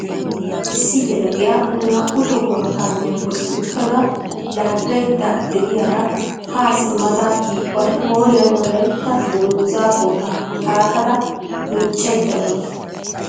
Issi gela"iya naa"u tohuwaa kaamiyaa bolli uttada laagaydda de'iyaara ha simmada yaydda bari qooriyaan wolaytta dungguza pooxa xaaxada miiccaydda dawusu.